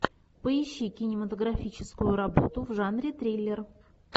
поищи кинематографическую работу в жанре триллер